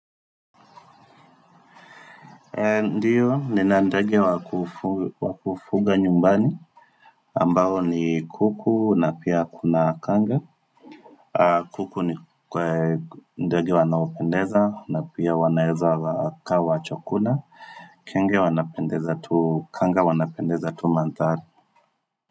Ndio, nina ndege wa kufuga nyumbani ambao ni kuku na pia kuna kanga kuku ni kwa ndege wanaopendeza na pia wanaeza wakawa chakula Kenge wanaopendeza tu kanga wanaopendeza tu mandhari.